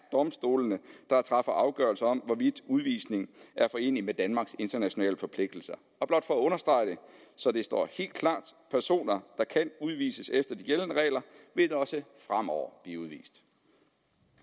domstolene der træffer afgørelse om hvorvidt udvisning er forenelig med danmarks internationale forpligtelser blot for at understrege det så det står helt klart personer der kan udvises efter de gældende regler vil også fremover